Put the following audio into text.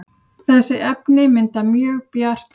þessi efni mynda mjög bjarta